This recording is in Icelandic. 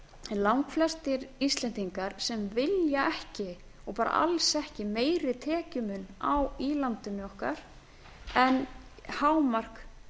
langflestir íslendingar sem vilja ekki og bara alls ekki meiri tekjumun í landinu okkar en hámark